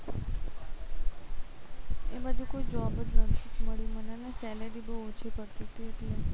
એ બાજુ તો job જ નતી મળી મને અને salary બહુ ઓછી મળતી હતી એટલે